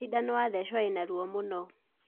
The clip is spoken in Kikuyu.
Cindano watheco ĩruo mũno